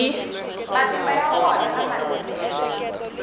matimba ya wona na matirhelo